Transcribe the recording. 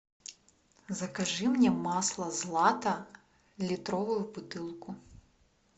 закажи мне масло злато литровую бутылку